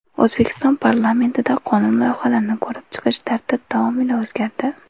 O‘zbekiston parlamentida qonun loyihalarini ko‘rib chiqish tartib-taomili o‘zgardi.